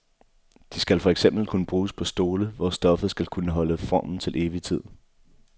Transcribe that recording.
De skal for eksempel kunne bruges på stole, hvor stoffet skal kunne holde formen til evig tid.